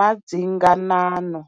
madzinganano.